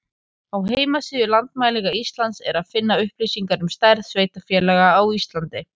Á heimasíðu Landmælinga Íslands er að finna upplýsingar um stærð sveitarfélaga á Íslandi.